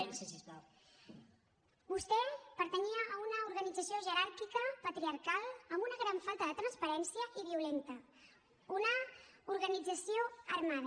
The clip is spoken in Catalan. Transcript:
vostè pertanyia a una organització jeràrquica patriarcal amb una gran falta de transparència i violenta una organització armada